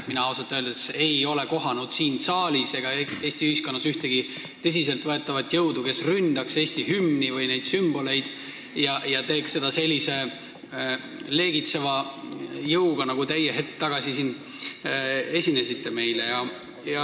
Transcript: Ausalt öeldes ei ole mina kohanud siin saalis ega Eesti ühiskonnas ühtegi tõsiselt võetavat jõudu, kes ründaks Eesti hümni või meie sümboleid ja teeks seda sellise leegitseva jõuga, nagu teie hetk tagasi meile esinesite.